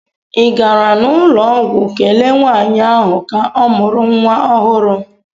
ị gara n'ụlọ ọgwụ kelee nwanyị ahụ ka mụrụ nwa ohuru?